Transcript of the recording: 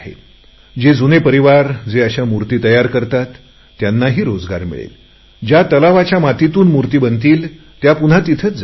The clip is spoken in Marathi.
जे जुने परिवार जे अशा मूर्ती तयार करतात त्यांनाही रोजगार मिळेल ज्या तलावाच्या मातीतून मूर्ति बनतील त्या पुन्हा तिथेच जातील